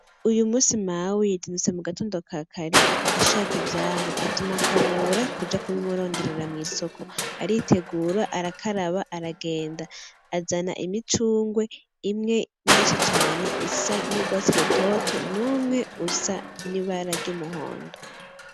Uyu musi mawidnutse mu gatondo kakare ashaka ivyamwe atuma akabura kuja kubaimuronderera mw'isoko aritegura arakaraba aragenda azana imicungwe imwe myinshi cane isa n'ubwatsi rutoto n'umwe usa n’ibara ry’ubururuumuhondo.